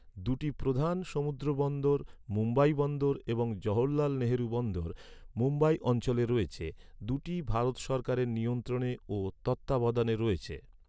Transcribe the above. দুটি প্রধান সমুদ্রবন্দর, মুম্বাই বন্দর এবং জওহরলাল নেহরু বন্দর, মুম্বাই অঞ্চলে রয়েছে। দু’টিই ভারত সরকারের নিয়ন্ত্রণে ও তত্ত্বাবধানে রয়েছে।